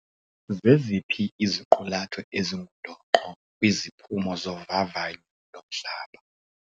Zeziphi iziqulatho ezingundoqo kwiziphumo zovavanyo lomhlaba?